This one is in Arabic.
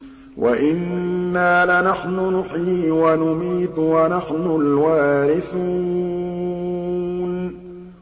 وَإِنَّا لَنَحْنُ نُحْيِي وَنُمِيتُ وَنَحْنُ الْوَارِثُونَ